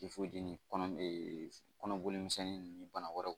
kɔnɔ ee kɔnɔboli misɛnnin ninnu bana wɛrɛw